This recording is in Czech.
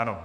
Ano.